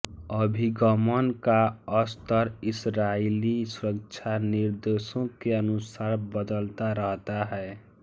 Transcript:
अभिगमन का स्तर इसराइली सुरक्षा निर्देशों के अनुसार बदलता रहता है